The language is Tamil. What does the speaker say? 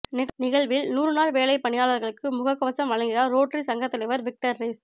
நிகழ்வில் நூறுநாள் வேலை பணியாளா்களுக்கு முகக் கவசம் வழங்குகிறாா் ரோட்டரி சங்கத் தலைவா் விக்டா் ரெஸ்